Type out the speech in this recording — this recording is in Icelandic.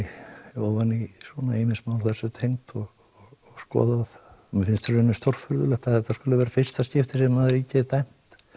mér ofan í ýmis mál þessu tengd og skoðað og mér finnst í raun stórfurðulegt að þetta skuli vera fyrsta skipti sem ríkið er dæmt